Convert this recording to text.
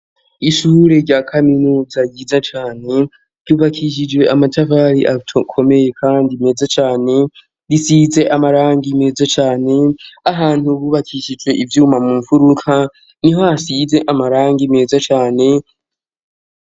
Ishure rya kaminuza ryiza cane ryubakishijwe amatafari akomeye kandi meza cane risize amarangi meza cane ahantu bubakishijwe ivyuma mu mfuruka niho hasize amarangi meza cane.